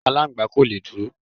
Aláǹgbá kò le dúró.